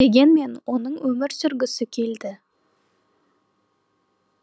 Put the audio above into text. дегенмен оның өмір сүргісі келді